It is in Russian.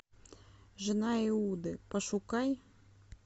жена иуды пошукай